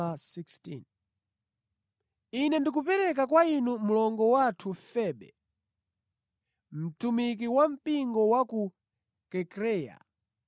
Ine ndikupereka kwa inu mlongo wathu Febe, mtumiki wa mpingo wa ku Kenkreya.